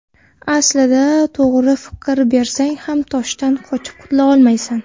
Aslida to‘g‘ri fikr bersang ham toshdan qochib qutula olmaysan.